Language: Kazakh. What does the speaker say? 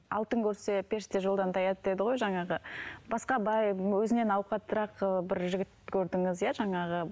алтын көрсе періште жолдан таяды дейді ғой жаңағы басқа бай өзінен ауқаттырақ ы бір жігіт көрдіңіз иә жаңағы